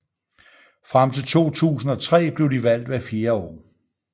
Frem til 2003 blev de valgt hvert fjerde år